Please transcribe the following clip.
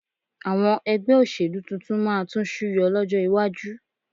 Àwọn ẹgbẹ́ òṣèlú tuntun máa tún súyọ lọ́jọ́ iwájú